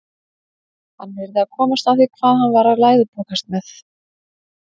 Hann yrði að komast að því hvað hann var að læðupokast með.